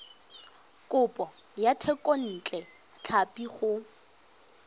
kopo ya thekontle tlhapi go